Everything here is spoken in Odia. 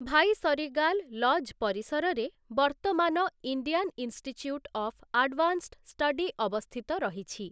ଭାଇସରିଗାଲ୍ ଲଜ୍ ପରିସରରେ ବର୍ତ୍ତମାନ Indian institute of advanced study ଅବସ୍ଥିତ ରହିଛି ।